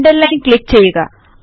Underlineൽ click ചെയ്യുക